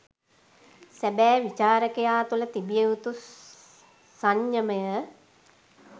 සැබෑ විචාරකයා තුළ තිබිය යුතු සංයමය